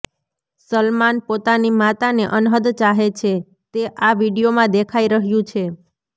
સલમાન પોતાની માતાને અનહદ ચાહે છે તે આ વિડીયોમાં દેખાઈ રહ્યું છે